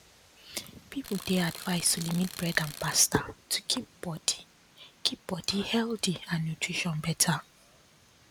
people dey advised to limit bread and pasta to keep body keep body healthy and nutrition better